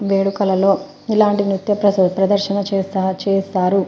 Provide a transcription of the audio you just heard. వేడుకలలో ఇలాంటి నిత్యప్రసాద్ ప్రదర్శన చేస్తా చేస్తారు.